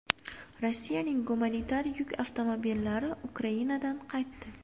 Rossiyaning gumanitar yuk avtomobillari Ukrainadan qaytdi.